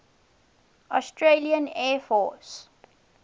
australian air force